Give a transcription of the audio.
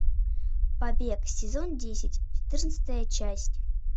побег сезон десять четырнадцатая часть